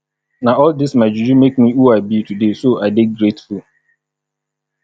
na all dis my juju make me who i be today so i dey grateful